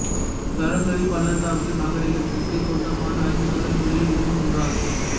சரஸ்வதி பள்ளத்தாக்கு நாகரிகத்திற்கு சொந்தமான ஐந்து நகரங்களில் இதுவும் ஒன்றாகும்